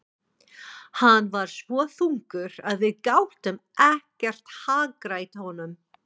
Hann var svo þungur að við gátum ekkert hagrætt honum.